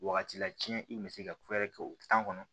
Wagati la tiɲɛ i kun bɛ se ka ku wɛrɛ kɛ o kɔnɔ